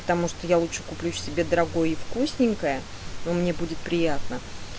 потому что я лучше куплю себе дорогое и вкусненькое но мне будет приятно